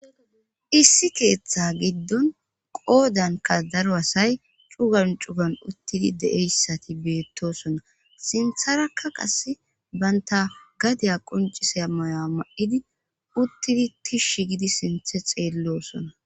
issi keeththa giddon qoodanka daro asay cugan cugan uttidi de7eyssati beettosona sintharakka qase banta gadiya qoncise mayoa ma7idi uttidi tishshi gidi sinthe xeellosona